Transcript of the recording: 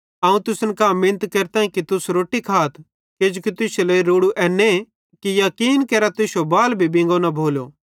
अवं तुसन कां मिनत केरताईं कि तुस रोट्टी खाथ किजोकि तुश्शे लेइ रोड़ू एन्ने कि याकीन केरा कि तुश्शो बाल बिंगो न भोलो